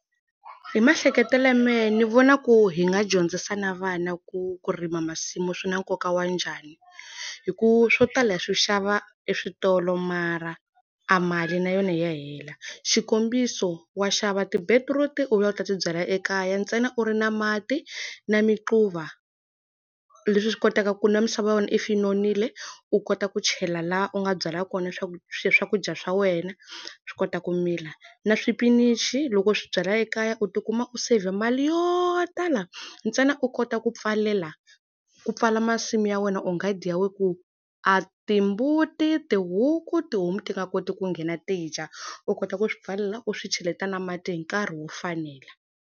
Hi maehleketelo ya mehe ni vona ku hi nga dyondzisa na vana ku ku rima masimu swi na nkoka wa njhani. Hikuva swo tala ya swi xava eswitolo mara a mali na yona hi ya hela. Xikombiso wa xava ti-beetroot-i u vuya u ta ti byala ekaya ntsena u ri na mati, na miquva. Leswi swi kotaka ku na misava ya wena if yi nonile, u kota ku chela laha u nga byela kona leswaku swakudya swa wena swi kota ku mila. Na xipinichi loko swi byala ekaya u ti kuma u save mali yo tala ntsena u kota ku pfalela ku pfala masimu ya wena or nghadi ya wena ku a timbuti, tihuku, tihomu ti nga koti ku nghena ti dya. U kota ku swi pfalela u swi cheleta na mati hi nkarhi wo fanela.